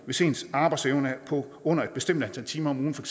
hvis ens arbejdsevne er på under et bestemt antal timer om ugen for